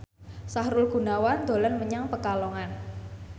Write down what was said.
Sahrul Gunawan dolan menyang Pekalongan